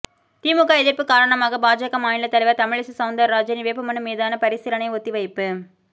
திமுக எதிர்ப்பு காரணமாக பாஜக மாநில தலைவர் தமிழிசை சவுந்தரராஜனின் வேட்பு மனு மீதான பரிசீலனை ஒத்திவைப்பு